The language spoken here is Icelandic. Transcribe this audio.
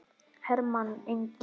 Hermann Ingi.